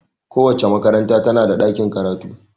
Kowace makaranta tana da ɗakin karatu.